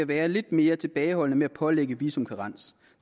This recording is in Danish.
være lidt mere tilbageholdende med at pålægge visumkarens